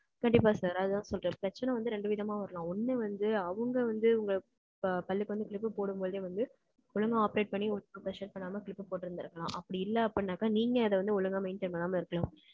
கண்டிப்பா sir, அதான் சொல்றேன். பிரச்சனை வந்து, ரெண்டு விதமா வரலாம். ஒண்ணு வந்து, அவங்க வந்து, உங்க ப~ பல்லுக்கு வந்து clip போடும்போதே வந்து, ஒழுங்கா operate பண்ணி, உங்களுக்கு pressure பண்ணாம, clip போட்டிருந்திருக்கலாம். அப்படி இல்லை, அப்படின்னாக்கா, நீங்க அதை வந்து, ஒழுங்கா maintain பண்ணாம இருக்கலாம்.